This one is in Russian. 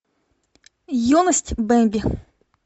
юность бемби